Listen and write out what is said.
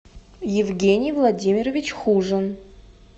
евгений владимирович хужин